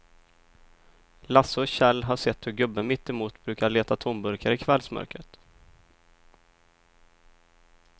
Lasse och Kjell har sett hur gubben mittemot brukar leta tomburkar i kvällsmörkret.